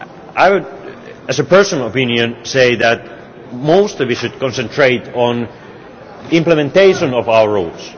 I would, as a personal opinion, say that most of it should concentrate on implementation of our rules.